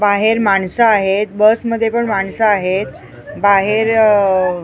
बाहेर माणसं आहेत बस मध्ये पण माणसं आहेत बाहेरअ --